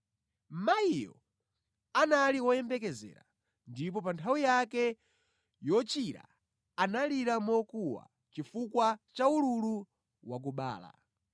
Mayiyo anali woyembekezera ndipo pa nthawi yake yochira analira mokuwa chifukwa cha ululu wakubala.